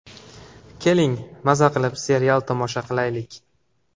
Keling, maza qilib serialni tomosha qilaylik.